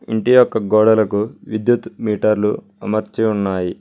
ఇంటి యొక్క గోడలకు విద్యుత్ మీటర్లు అమర్చి ఉన్నాయి.